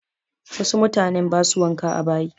Wasu mutanen ba su wanka a bayi.